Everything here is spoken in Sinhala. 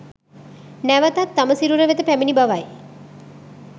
නැවතත් තම සිරුර වෙත පැමිණි බවයි.